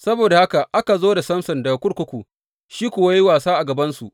Saboda haka aka zo da Samson daga kurkuku, shi kuwa ya yi wasa a gabansu.